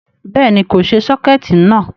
Béèni, kò ṣe sọ́kẹ̀tí náà